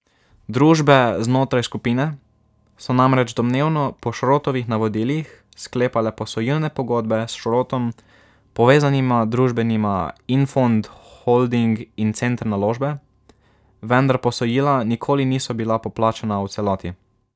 Družbe znotraj skupine so namreč, domnevno po Šrotovih navodilih, sklepale posojilne pogodbe s Šrotom povezanima družbama Infond Holding in Center Naložbe, vendar posojila nikoli niso bila poplačana v celoti.